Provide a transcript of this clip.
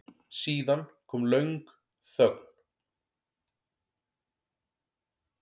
Síðan kom löng þögn.